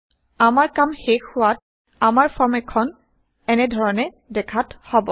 আমাৰ কাম শেষ হোৱাত আমাৰ ফৰ্ম খন এনে ধৰণে দেখাত হব